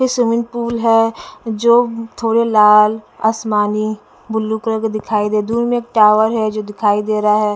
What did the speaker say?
ये swimming pool है जो थोड़े लाल आसमानी ब्लू कलर के दिखाई दे दूर में एक टॉवर है जो दिखाई दे रहा है।